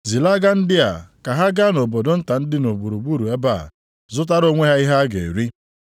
Zilaga ndị a, ka ha gaa nʼobodo nta ndị dị gburugburu ebe a, zụtara onwe ha ihe ha ga-eri.”